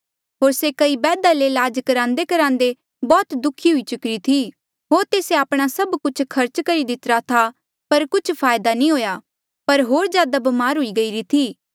होर से कई बैदा ले लाज करान्देकरान्दे बौह्त दुःखी हुई चुकीरी थी होर तेस्से आपणा सभ कुछ खर्च करी दितिरा था पर कुछ फायदा नी हुआ पर होर जादा ब्मार हुई गईरी थी